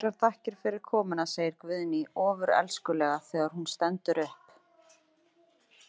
Kærar þakkir fyrir komuna, segir Guðný ofurelskulega þegar hún stendur upp.